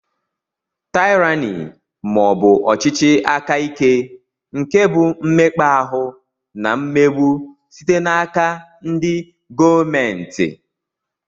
Tyrani maọbu ọchịchị aka ike nke bụ mmekpa ahụ na mmegbu site n'aka ndị gọọmenti.